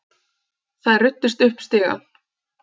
Þær ruddust upp stigann.